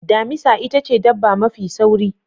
Damisa itace dabba mafi sauri.